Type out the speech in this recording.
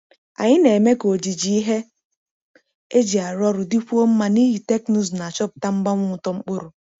Anyị na-eme ka ojiji ihe eji arụ ọrụ dịkwuo mma n’ihi teknụzụ na-achọpụta mgbanwe uto mkpụrụ.